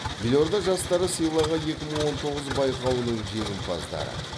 елорда жастары сыйлығы екі мың он тоңыз байқауының жеңімпаздары